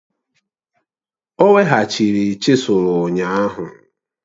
O weghachiri chisụl ụnyahụ